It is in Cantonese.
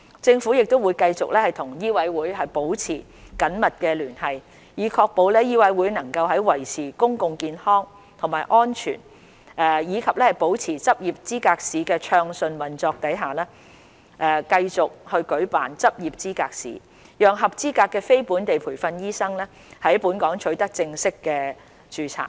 政府會繼續與醫委會保持緊密聯繫，以確保醫委會能在維持公共健康和安全及保持執業資格試的暢順運作下，繼續舉辦執業資格試，讓合資格的非本地培訓醫生在本港取得正式註冊。